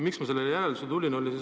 Miks ma sellele järeldusele tulin?